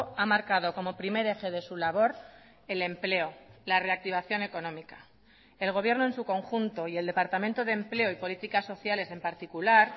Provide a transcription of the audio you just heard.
ha marcado como primer eje de su labor el empleo la reactivación económica el gobierno en su conjunto y el departamento de empleo y políticas sociales en particular